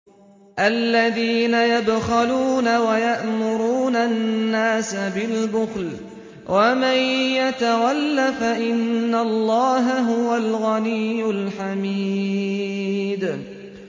الَّذِينَ يَبْخَلُونَ وَيَأْمُرُونَ النَّاسَ بِالْبُخْلِ ۗ وَمَن يَتَوَلَّ فَإِنَّ اللَّهَ هُوَ الْغَنِيُّ الْحَمِيدُ